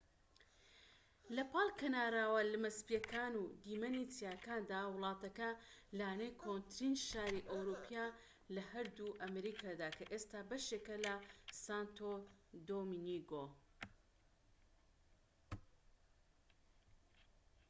لەپاڵ کەناراوە لمە سپیەکان و دیمەنی چیاکاندا وڵاتەکە لانەی کۆنترین شاری ئەوروپیە لە هەردوو ئەمریکادا کە ئێستا بەشێکە لە سانتۆ دۆمینگۆ